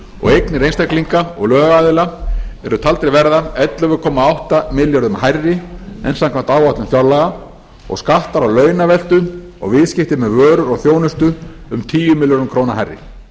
og eignir einstaklinga og lögaðila eru taldar verða ellefu komma átta milljörðum hærri en samkvæmt áætlun fjárlaga og skatta launaveltu og viðskipti með vörur og þjónustu um tíu milljónir króna hærri